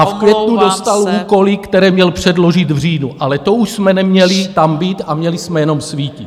A v květnu dostal úkoly, které měl předložit v říjnu, ale to už jsme neměli tam být a měli jsme jenom svítit.